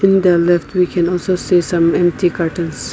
in the left we can also see some empty cartons.